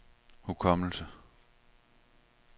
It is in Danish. hukommelse